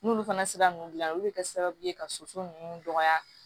N'olu fana sera ninnu gilan olu bɛ kɛ sababu ye ka soso ninnu dɔgɔya